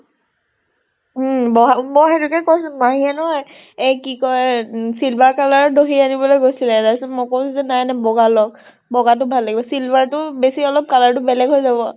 উম বহা মই সেইটোকে কৈছো মাহীয়ে নহয় এহ কি কয় silver color দহি আনিবলৈ গৈছিলে। তাৰ পিছত মই কৈছো যে নাই নাই বগা লওক। বগাটো ভাল লাগিব। silver টো বেছি অলপ color টো বেলেগ হৈ যাব।